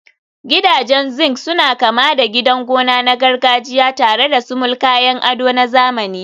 Gidajen zinc suna kama da gidan gona na gargajiya tare da sumul, kayan ado na zamani.